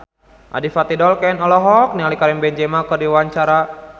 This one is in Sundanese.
Adipati Dolken olohok ningali Karim Benzema keur diwawancara